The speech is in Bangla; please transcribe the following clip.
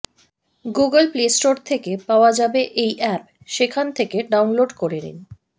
গুগল প্লে স্টোর থেকে পাওয়া যাবে এই অ্যাপ সেখান থেকে ডাউনলোড করে নিন